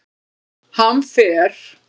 Hann fer